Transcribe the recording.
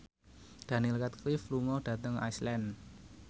Daniel Radcliffe lunga dhateng Iceland